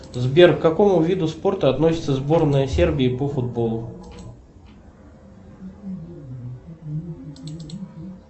сбер к какому виду спорта относится сборная сербии по футболу